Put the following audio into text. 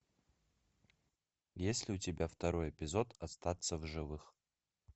есть ли у тебя второй эпизод остаться в живых